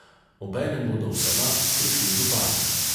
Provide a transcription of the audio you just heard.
Obenem bodo v senat prišli župani.